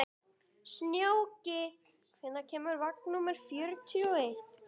Snjóki, hvenær kemur vagn númer fjörutíu og eitt?